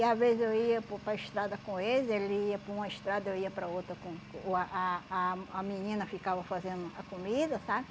E às vezes eu ia para o para a estrada com eles, ele ia por uma estrada, eu ia para outra com uh ah ah a menina ficava fazendo a comida, sabe?